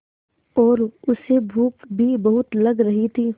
और उसे भूख भी बहुत लग रही थी